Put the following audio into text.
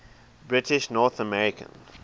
british north american